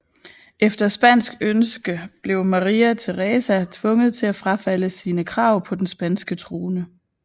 Efter spansk ønske blev Maria Teresa tvunget til at frafalde sine krav på den spanske krone